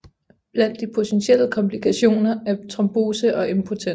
Blandt de potentielle komplikationer er trombose og impotens